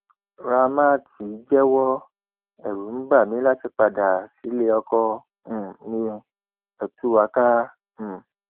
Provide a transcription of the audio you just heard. ramat jẹwọ ẹrù ń bà mí láti padà padà síléọkọ um mi ẹ tú wa ká um